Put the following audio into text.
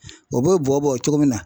O b'o bɔbɔ cogo min na.